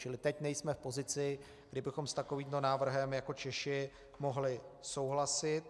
Čili teď nejsme v pozici, kdy bychom s takovým návrhem jako Češi mohli souhlasit.